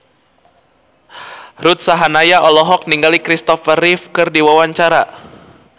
Ruth Sahanaya olohok ningali Christopher Reeve keur diwawancara